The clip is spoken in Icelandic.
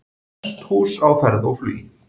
Hesthús á ferð og flugi